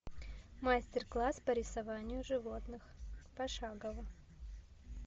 мастер класс по рисованию животных пошагово